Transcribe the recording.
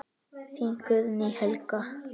Þín Guðný Helga.